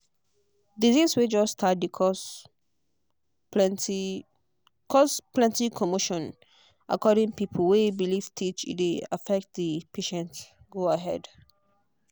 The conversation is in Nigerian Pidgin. disease way just start dey cause plenty cause plenty commotion according pipo way believe teach e dey affect the patient go ahead.